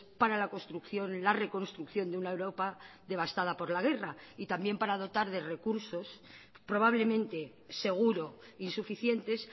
para la construcción la reconstrucción de una europa devastada por la guerra y también para dotar de recursos probablemente seguro insuficientes